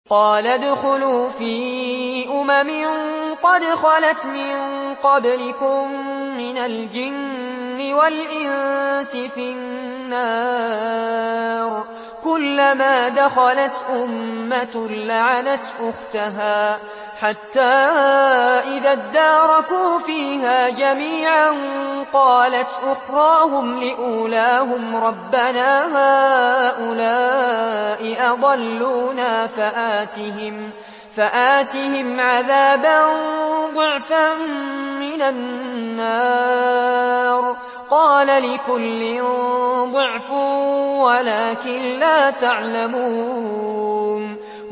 قَالَ ادْخُلُوا فِي أُمَمٍ قَدْ خَلَتْ مِن قَبْلِكُم مِّنَ الْجِنِّ وَالْإِنسِ فِي النَّارِ ۖ كُلَّمَا دَخَلَتْ أُمَّةٌ لَّعَنَتْ أُخْتَهَا ۖ حَتَّىٰ إِذَا ادَّارَكُوا فِيهَا جَمِيعًا قَالَتْ أُخْرَاهُمْ لِأُولَاهُمْ رَبَّنَا هَٰؤُلَاءِ أَضَلُّونَا فَآتِهِمْ عَذَابًا ضِعْفًا مِّنَ النَّارِ ۖ قَالَ لِكُلٍّ ضِعْفٌ وَلَٰكِن لَّا تَعْلَمُونَ